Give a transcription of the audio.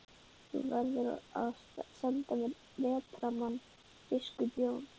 Þú verður að senda mér vetrarmann, biskup Jón.